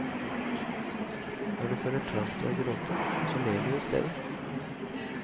Når du føler trang til å gråte, så ler du i stedet.